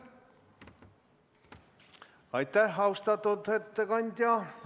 Aitäh, austatud ettekandja!